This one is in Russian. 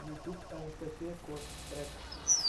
ютьюб анастасия кош трек